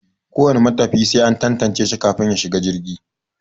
Ko wane matafiya sai an tantance shi kafin ya shiga jirgi.